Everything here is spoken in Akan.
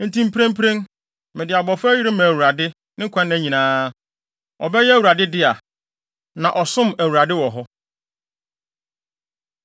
Enti mprempren, mede abofra yi rema Awurade. Ne nkwa nna nyinaa, ɔbɛyɛ Awurade dea.” Na ɔsom Awurade wɔ hɔ.